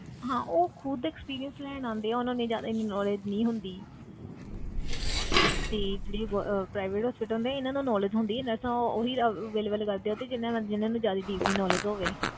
ਹਾਂ ਉਹ ਖੁੱਦ experience ਲੈਣ ਆਉਂਦੇ ਆ ਉਹਨਾਂ ਨੂੰ ਜ਼ਿਆਦਾ ਇੰਨੀ knowledge ਨਹੀਂਂ ਹੁੰਦੀ ਤੇ ਜਿਹੜੇ ਗੋ~ ਅਹ private hospital ਹੁੰਦੇ ਆ ਇਹਨਾਂ ਨੂੰ knowledge ਹੁੰਦੀ ਹੈ nurse ਉਹ ਹੀ available ਕਰਦੇ ਆ ਤੇ ਜਿੰਨਾਂ ਨੂੰ ਜਿੰਨਾਂ ਨੂੰ ਜ਼ਿਆਦੇ deeply knowledge ਹੋਵੇ